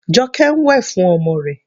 Joke ń wẹ̀ fún ọmọ rẹ̀.